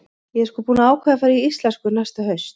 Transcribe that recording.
Ég er sko búin að ákveða að fara í íslensku næsta haust.